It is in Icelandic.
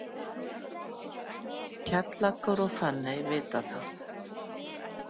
Kjallakur og Fanney vita það.